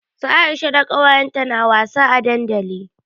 Su Aisha da kawayenta na wasa a dandali.